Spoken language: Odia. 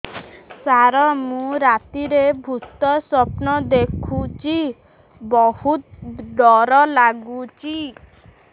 ସାର ମୁ ରାତିରେ ଭୁତ ସ୍ୱପ୍ନ ଦେଖୁଚି ବହୁତ ଡର ଲାଗୁଚି